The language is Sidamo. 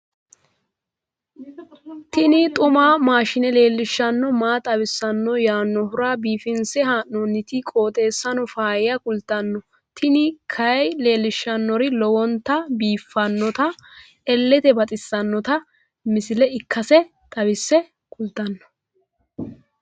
tini xumamaashine leellishshanno maa xawissanno yaannohura biifinse haa'noonniti qooxeessano faayya kultanno tini kayi leellishshannori lowonta biiffinota illete baxissanno misile ikkase xawisse kultanno.